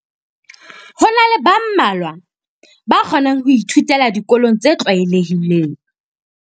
Ho na le ba mmalwa ba kgona ho ithutela dikolong tse tlwaelehileng.